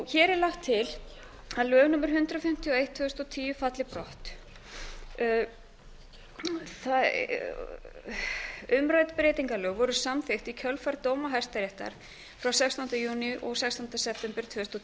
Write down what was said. hér er lagt til að lög númer hundrað fimmtíu og eitt tvö þúsund og tíu falli brott umrædd breytingalög voru samþykkt í kjölfar dóma hæstaréttar frá sextánda júní og sextánda september